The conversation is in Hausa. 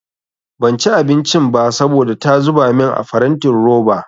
Banci abincin ba saboda ta zuba min a farantin roba.